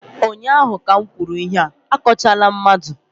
ụnyaahụ ka m kwuru ihe a, akọchala mmadụ!